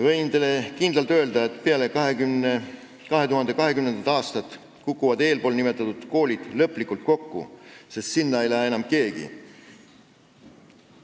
Võin teile kindlalt öelda, et peale 2020. aastat kukuvad eespool nimetatud koolid lõplikult kokku, sest sinna ei lähe enam keegi.